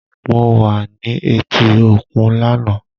Mo wa ni eti okun lana.